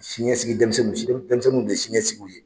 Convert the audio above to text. Siɲɛsigi denmisɛnnin denmisɛnninw de ye siɲɛsigiw ye.